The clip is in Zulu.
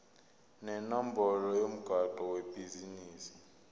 nenombolo yomgwaqo webhizinisi